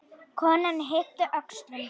Konan yppti öxlum.